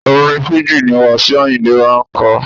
Orin fújì ni wasiu ayinde máa ń ko.